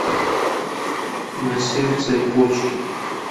на сердце и почки